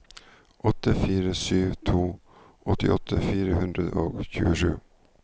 åtte fire sju to åttiåtte fire hundre og tjuesju